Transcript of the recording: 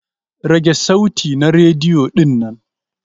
Rage sauti na rediyo dinnan!